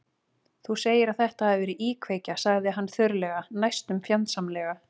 Þú segir að þetta hafi verið íkveikja- sagði hann þurrlega, næstum fjandsamlega.